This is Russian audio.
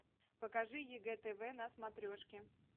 покажи егэ тв на смотрешке